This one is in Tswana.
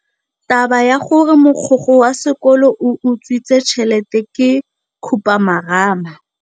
Taba ya gore mogokgo wa sekolo o utswitse tšhelete ke khupamarama.